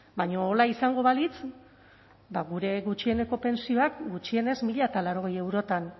baina horrela izango balitz gure gutxieneko pentsioak gutxienez mila laurogei eurotan